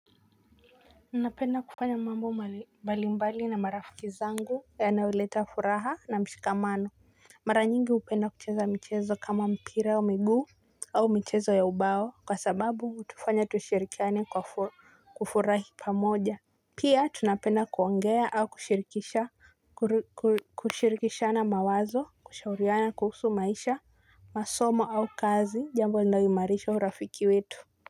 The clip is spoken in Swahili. Napenda kufanya mambo mbalimbali na marafiki zangu yanayoleta furaha na mshikamano. Mara nyingi hupenda kucheza mchezo kama mpira wa miguu. Au michezo ya ubao kwa sababu hutufanya tushirikiane kwa kufurahi pamoja. Pia tunapenda kuongea au kushirikishana mawazo kushauriana kuhusu maisha masomo au kazi jambo linayoimarisha urafiki wetu.